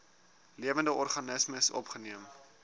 lewende organismes opgeneem